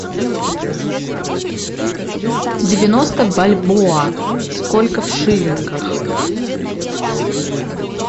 девяносто бальбоа сколько в шиллингах